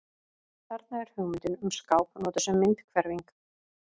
Þarna er hugmyndin um skáp notuð sem myndhverfing.